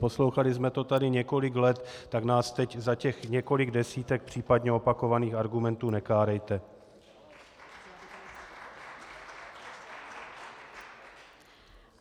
Poslouchali jsme to tady několik let, tak nás teď za těch několik desítek případně opakovaných argumentů nekárejte.